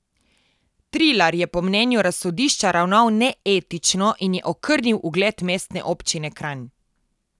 Trilar je po mnenju razsodišča ravnal neetično in je okrnil ugled Mestne občine Kranj.